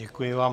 Děkuji vám.